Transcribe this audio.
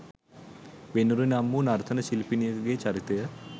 වෙනුරි නම් වු නර්තන ශිල්පිනියකගේ චරිතය